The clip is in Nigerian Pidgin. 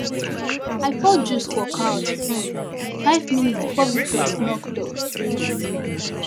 i pour juice for couch um five minutes before visitors knock door um